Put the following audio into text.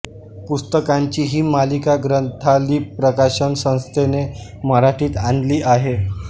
पुस्तकांची ही मालिका ग्रंथाली प्रकाशन संस्थेने मराठीत आणली आहे